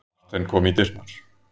Marteinn kom í dyrnar.